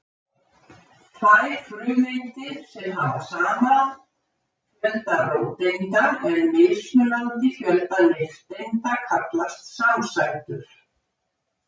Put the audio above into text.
tvær frumeindir sem hafa sama fjölda róteinda en mismunandi fjölda nifteinda kallast samsætur